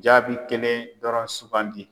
Jaabi kelen dɔrɔn sugandi.